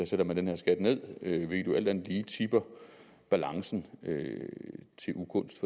sætter den her skat ned hvilket jo alt andet lige tipper balancen til ugunst